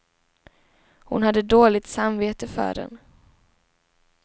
Hon hade dåligt samvete för den.